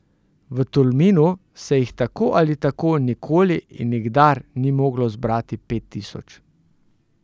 V Tolminu se jih tako ali tako nikoli in nikdar ni moglo zbrati pet tisoč.